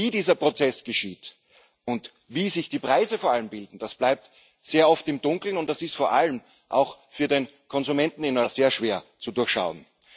Wie dieser Prozess geschieht und vor allem wie sich die Preise bilden, das bleibt sehr oft im Dunkeln, und das ist vor allem auch für den Konsumenten in Europa sehr schwer zu durchschauen.